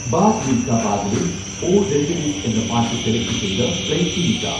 bag Milkha ബാഗിലെ 'ഓ രംഗരേസ്'എന്ന പാട്ടു സെലക്ട് ചെയ്തു പ്ലേയ് ചെയുക